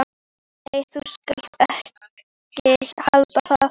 Nei, þú skalt ekki halda það!